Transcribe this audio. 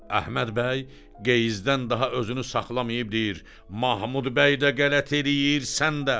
Əhməd bəy qeyzdən daha özünü saxlamayıb deyir: Mahmud bəy də qələt eləyir, sən də.